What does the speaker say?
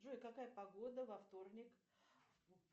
джой какая погода во вторник